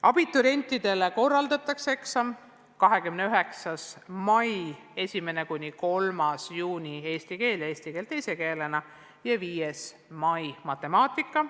Abiturientidele korraldatakse eksamid 29. mail ja 1.–3. juunil eesti keeles ja eesti keeles teise keelena ning 5. juunil matemaatikas.